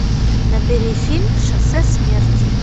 набери фильм шоссе смерти